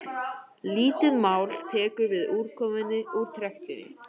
lítið mál tekur við úrkomunni úr trektinni